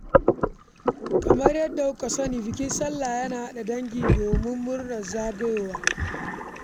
Kamar yadda kowa ya sani, bikin sallah yana haɗa dangi domin murnar zagayowarsa.